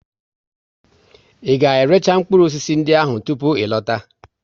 Ị ga récha mkpụrụ osisi ndị ahụ tupu ị lọta!